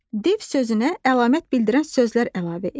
Div sözünə əlamət bildirən sözlər əlavə et.